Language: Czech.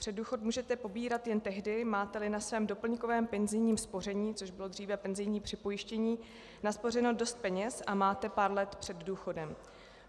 Předdůchod můžete pobírat jen tehdy, máte-li na svém doplňkovém penzijním spoření, což bylo dříve penzijní připojištění, naspořeno dost peněz a máte pár let před důchodem.